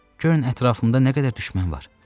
Görün ətrafımda nə qədər düşmən var.